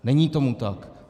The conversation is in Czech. Není tomu tak.